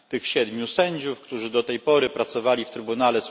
Tych siedmiu sędziów, którzy do tej pory pracowali w Sądzie ds.